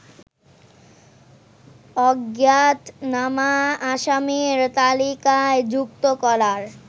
অজ্ঞাতনামা আসামির তালিকায় যুক্ত করার